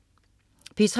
P3: